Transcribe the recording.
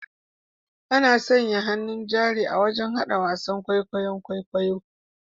Ana sanya hannun jari wajen hada wasan kwaikwayon kwaikwayo